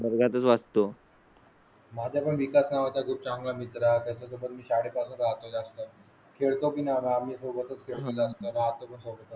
बराच वाचतो. माझ्या विकास नावा चा खूप चांगला मित्र आहे. त्याच्या सोबत मी शाळे पासून राहतो. जास्त खेळणार आम्ही सोबतच कळण.